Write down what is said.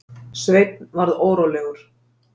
Sveinn varð órólegur.